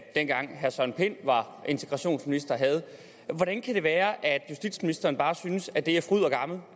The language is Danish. dengang herre søren pind var integrationsminister hvordan kan det være at justitsministeren bare synes at det er fryd og gammen